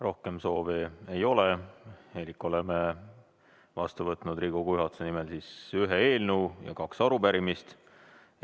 Rohkem soove ei ole elik olen vastu võtnud Riigikogu juhatuse nimel ühe eelnõu ja kaks arupärimist.